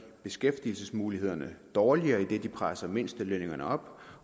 beskæftigelsesmulighederne dårligere idet de presser mindstelønningerne op